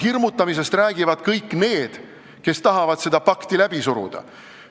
Hirmutamisest räägivad kõik need, kes tahavad seda pakti läbi suruda.